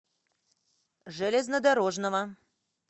железнодорожного